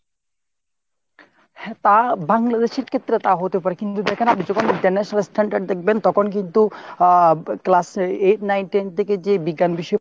হ্যাঁ তা বাংলাদেশ এর ক্ষেত্রে এটা হতে পারে কিন্তু দেখেন আপনি যখন international standard দেখবেন তখন কিন্তু আহ class eight nine ten থেকেই যে বিজ্ঞান বিষয়ে